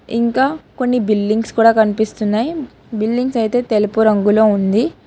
ఇంకా కొన్ని బిల్డింగ్స్ కూడా కనిపిస్తున్నాయి బిల్డింగ్స్ అయితే తెలుపు రంగులో ఉంది.